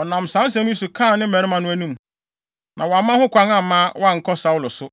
Ɔnam saa nsɛm yi so kaa ne mmarima no anim, na wamma ho kwan amma wɔankɔ Saulo so.